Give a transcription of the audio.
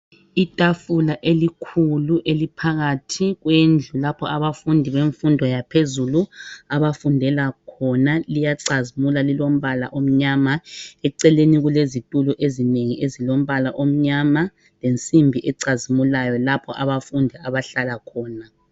Itafula elikhulu eliphakathi kwendlu lapho abafundi bemfundo yaphezulu abafundela khona liyacazimula lilombala omnyama ,eceleni kulezitulo ezinengi ezilombala omnyama lensimbi ecazimulayo lapho abafundi abahlala khona.